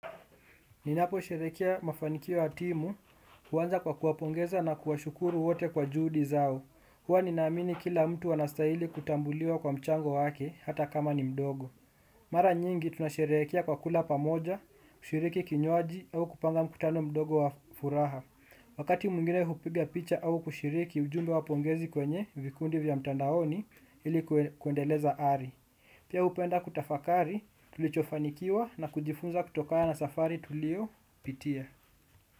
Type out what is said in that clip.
Ninaposherehekea mafanikio ya timu, huwanza kwa kuwapongeza na kuwashukuru wote kwa juhudi zao. Huwa ninaamini kila mtu anastahili kutambuliwa kwa mchango wake, hata kama ni mdogo. Mara nyingi tunasherehekea kwa kula pamoja, kushiriki kinywaji au kupanga mkutano mdogo wa furaha. Wakati mwingine hupiga picha au kushiriki ujumbe wa pongezi kwenye vikundi vya mtandaoni ili kuendeleza ari. Pia hupenda kutafakari, tulichofanikiwa na kujifunza kutokana na safari tuliyopitia.